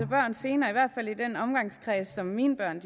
børn senere i hvert fald i den omgangskreds som mine børn